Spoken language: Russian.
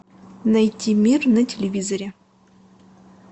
найти мир на телевизоре